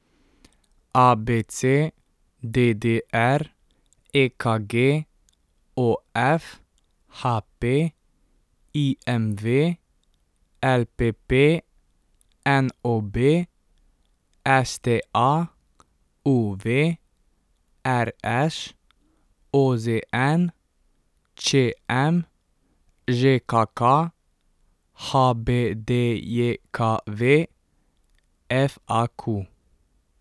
ABC, DDR, EKG, OF, HP, IMV, LPP, NOB, STA, UV, RŠ, OZN, ČM, ŽKK, HBDJKV, FAQ.